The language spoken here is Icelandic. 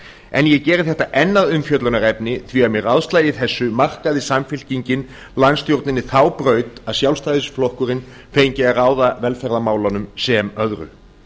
en ég geri þetta enn að umfjöllunarefni því að með ráðslagi þessu markaði samfylkingin landsstjórninni þá braut að sjálfstæðisflokkurinn fengi að ráða velferðarmálunum sem öðru